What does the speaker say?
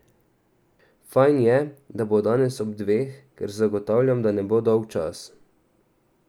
Fajn je, da bo danes ob dveh, ker zagotavljam, da ne bo dolgčas.